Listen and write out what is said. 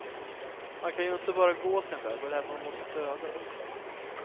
Man kan ju inte bara gå sin väg och lämna honom åt sitt öde.